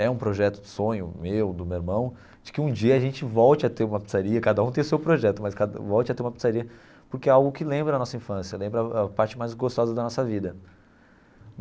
É um projeto de sonho meu, do meu irmão, de que um dia a gente volte a ter uma pizzaria, cada um tem o seu projeto, mas cada volte a ter uma pizzaria, porque é algo que lembra a nossa infância, lembra a a parte mais gostosa da nossa vida.